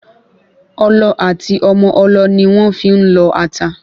Ọlọ àti Ọmọ ọlọ ni wọ́n fi ń lọ ata